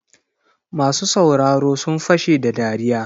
Masu sauraro sun fashe da dariya.